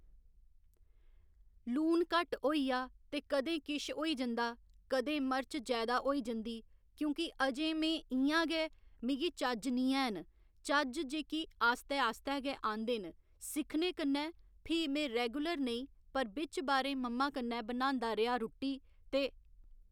लून घट्ट होइया ते कदें किश होई जंदा कदें मर्च जैदा होइ जंदी की जे अजें इयां गै मिगी चज्ज नीं हैन चज्ज जेह्‌की आस्तै आस्तै गै आंदे न सिक्खने कन्नै फ्ही में रैगुलर नेई पर बिच्च बारें मम्मा कन्नै बनांदा रेहा रुट्टी ते